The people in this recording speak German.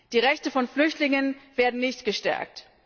Die Rechte von Flüchtlingen werden nicht gestärkt.